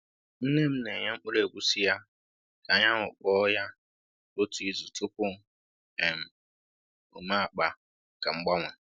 Nne m na-enye mkpụrụ egusi ya ka anyanwụ kpoo ya otu izu tupu um o mee akpa maka mgbanwe.